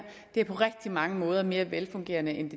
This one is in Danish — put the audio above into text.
det er på rigtig mange måder mere velfungerende end